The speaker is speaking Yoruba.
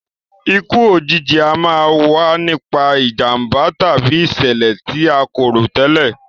Ikú òjijì a máa wa nipa ìjànbá tàbí ìsẹ̀lẹ̀ ti a ko rò tẹ́lẹ̀